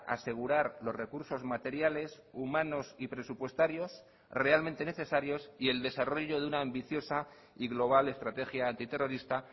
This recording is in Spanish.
asegurar los recursos materiales humanos y presupuestarios realmente necesarios y el desarrollo de una ambiciosa y global estrategia antiterrorista